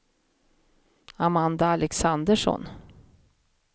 Amanda Alexandersson